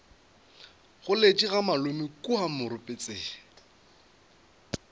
goletše ga malome kua moropetse